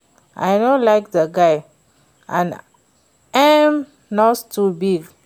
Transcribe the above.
I no like the guy and im nose too big